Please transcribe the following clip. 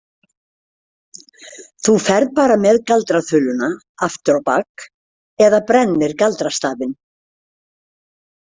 Þú ferð bara með galdraþuluna aftur á bak eða brennir galdrastafinn.